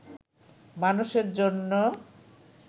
মানুষের জন‍্য